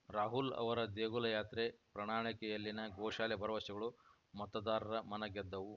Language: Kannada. ರಾಹುಲ್‌ ಅವರ ದೇಗುಲ ಯಾತ್ರೆ ಪ್ರಣಾಳಿಕೆಯಲ್ಲಿನ ಗೋಶಾಲೆ ಭರವಸೆಗಳು ಮತದಾರರ ಮನಗೆದ್ದವು